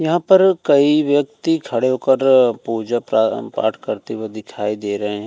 यहाँ पर कई व्यक्ति खड़े होकर पुजा प्रारम-पाठ करते हुए दिखाई दे रहे हैं।